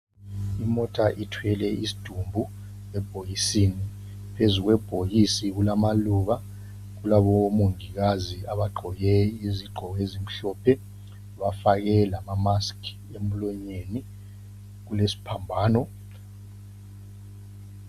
Imota ithwele isdumbu ebhokisini. Phezu kwebhokisi kulamaluba, kulabo mongikazi abagqoke izigqoko ezimhlophe, bafake lama mask emlonyeni. Kulesphambano.